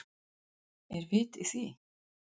Er vit í því?